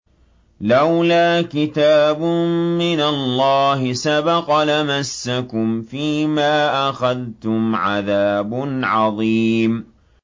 لَّوْلَا كِتَابٌ مِّنَ اللَّهِ سَبَقَ لَمَسَّكُمْ فِيمَا أَخَذْتُمْ عَذَابٌ عَظِيمٌ